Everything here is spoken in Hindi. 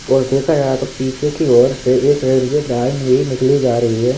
और देखा जाए तो पीछे की ओर से एक रेलवे लाइन भी निकली जा रही है।